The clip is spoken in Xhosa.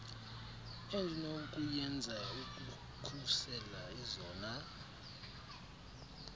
endinokuyenza ukukhusela ezona